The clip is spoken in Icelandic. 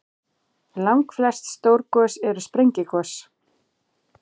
Langflest stór gos eru sprengigos.